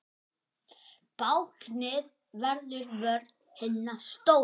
Báknið verður vörn hinna stóru.